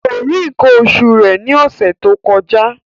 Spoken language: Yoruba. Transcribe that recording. Kò rí nǹkan oṣù rẹ̀ ní ọ̀sẹ̀ tó kọjá